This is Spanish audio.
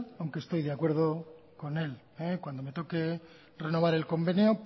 aunque estoy de acuerdo con él cuando me toque renovar el convenio